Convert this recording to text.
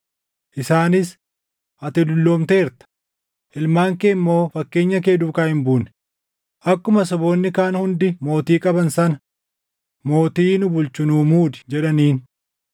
isaanis, “Ati dulloomteerta; ilmaan kee immoo fakkeenya kee duukaa hin buune; akkuma saboonni kaan hundi mootii qaban sana mootii nu bulchu nuu muudi” jedhaniin.